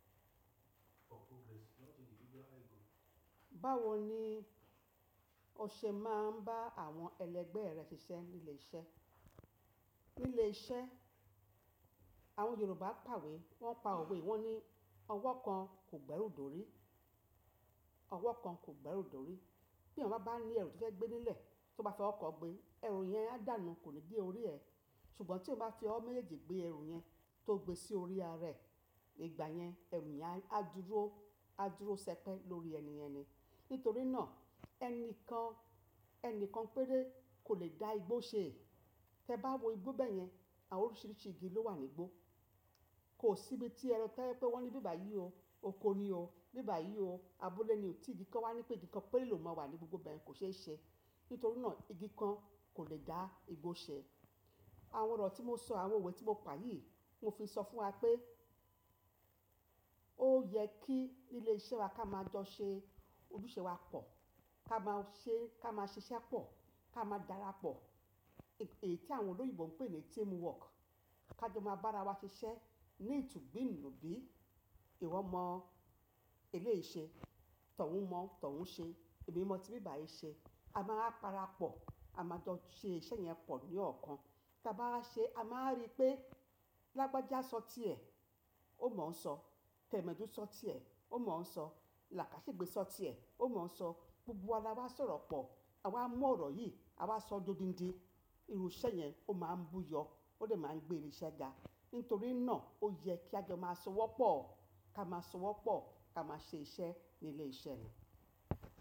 Báwo ni ọṣe máa ń bá àwọn ẹlẹgbẹ́ rẹ̀ ṣiṣẹ́ ní ilé iṣẹ́? Ní ilé iṣẹ́, àwọn Yorùbá pawé, wọ́n pa òwe, wọ́n ní ọwọ́ kan kò gbẹ́rù dòrí, ọwọ́ kan kò gbẹ́rù dòrí. Bí ènìyàn bá bá ní ẹrù tó fẹ́ gbé nílẹ̀, tó bá fi ọwọ́ kan gbé, ẹrù yẹn á dànù, kò ní dé orí ẹ. Ṣùgbọ́n tí ẹ bá fi ọwọ́ méjèèjì gbé ẹrù yẹn tó gbe sí orí arẹ, ní ìgbà yẹn, ẹrù yẹn á dúró, á dúró ṣẹ́pẹ́ lórí ẹni yẹn ni. Nítorí náà ẹni kan, ẹni kan péré kò lè dá igbó ṣe. Tẹ bá wò igbó bẹ́ẹ̀ yẹn, àwọn oríṣíríṣì igi ló wà ní igbó. Kò síbi tí ẹni tó fẹ́ wá ní bíbà yì o, oko nì o, bíbà yì o, abúlé ni o, tí igi kan wá ní pé igi kan péré lò máa wà ní gbogbo báyìí kò ṣe é ṣẹ. Nítorí náà igi kan kò lè dá igbó ṣẹ. Àwọn ọ̀rọ̀ tí mo sọ, àwọn òwe tí mo pa yí, mo fi sọ fún wa pé ó yẹ kí ní ilé iṣẹ́ wa kí a máa jọ ṣe ojúṣe wa pọ̀, kí a máa ṣe, kí a máa ṣiṣẹ́ pọ̀, kí a máa dára pọ̀. Èyí tí àwọn olóyinbo ń pè ní teamwork. Kí a jọ máa bá ara wa ṣiṣẹ́ ní ìtú bi nù bí ìwọ mọ eleyì ṣe, tọ̀ ọ́ún mọ, tọ̀ ọ́ún ṣe, èmi mọ tí bíbà yì ṣe. A máa wa parapọ̀, a máa jọ ṣe iṣẹ́ yẹn pọ̀ ní ọ̀kan. Ta bá wa ṣe, a máa rí pé Lágbájá sọ tíẹ̀, ó mọ̀ sọ. Tẹ̀mẹ́dú sọ tíẹ̀, ó mọ̀ sọ. Làkáṣìgbe so tíẹ̀, ó mọ̀ sọ. Gbogbo wa lawa sọ̀rọ̀ pọ̀, àwa mọ ọ̀rọ̀ yì àwa sọ dodidí- Irú iṣẹ́ yẹn ó máa ń buyọ́, ó lè máa ń gbé irinṣẹ́ ga. Nítorí náà ó yẹ kí a jọ máa sanwó pọ̀, kí a máa sanwó pọ̀, kí a máa ṣe iṣẹ́ ní ilé iṣẹ́ ni.